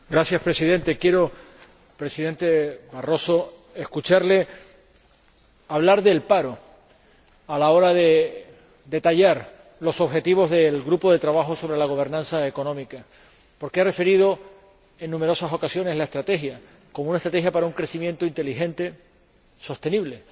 Señor Presidente, señor Presidente Barroso, quiero escucharle hablar del paro, a la hora de detallar los objetivos del Grupo de trabajo sobre la gobernanza económica, porque ha referido en numerosas ocasiones la estrategia, como una estrategia para un crecimiento inteligente, sostenible